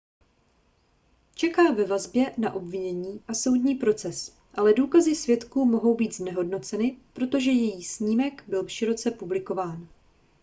čeká ve vazbě na obvinění a soudní proces ale důkazy svědků mohou být znehodnoceny protože její snímek byl široce publikován